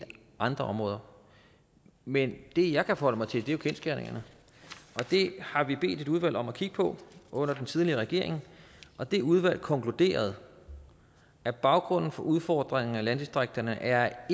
andre områder men det jeg kan forholde mig til er jo kendsgerningerne det har vi bedt et udvalg om at kigge på under den tidligere regering og det udvalg konkluderede at baggrunden for udfordringen i landdistrikterne er